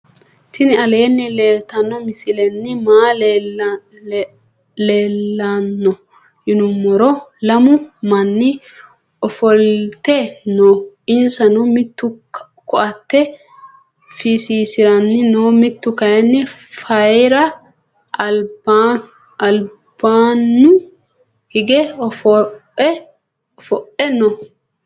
tini aleni leltano misileni maayi leelano yinnumoro. lamu mani ofolte nooo. insano mittu koate fisisirani noo mttu kayini fayira albanu hige oofoe noo.